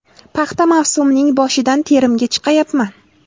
Paxta mavsumining boshidan terimga chiqayapman.